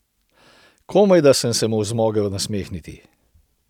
Komajda sem se mu zmogel nasmehniti.